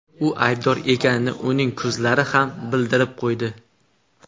U aybdor ekanini uning ko‘zlari ham bildirib qo‘ydi.